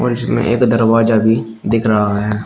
और इसमें एक दरवाजा भी दिख रहा है।